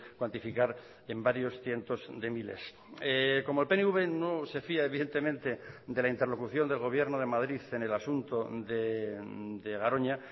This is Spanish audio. cuantificar en varios cientos de miles como el pnv no se fía evidentemente de la interlocución del gobierno de madrid en el asunto de garoña